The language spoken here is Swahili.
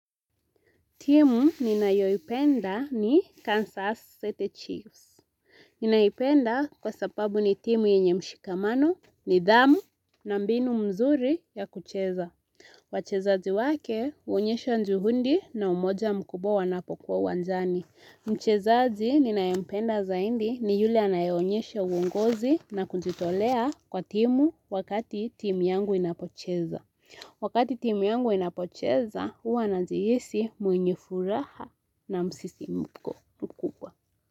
Timu ninayo ipenda ni Kansas City Chiefs. Ninaipenda kwa sababu ni timu yenye mshikamano, nidhamu na mbinu mzuri ya kucheza. Wachezazi wake, huonyesha juhundi na umoja mkubwa wanapokuwa uwanjani. Mchezazi ninaye mpenda zaindi ni yule anaye onyesha uungozi na kujitolea kwa timu wakati timu yangu inapocheza. Wakati timu yangu inapocheza, huwa najihisi mwenye furaha na msisimko mkubwa.